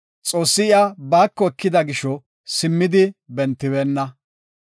Xoossi iya baako ekida gisho simmidi bentibeenna.